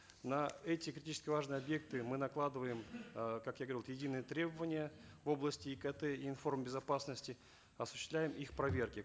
на эти критически важные объекты мы накладываем э как я говорил единые требования в области икт и информ безопасности осуществляем их проверки